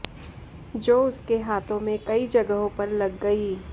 जो उसके हाथों में कई जगहों पर लग गयी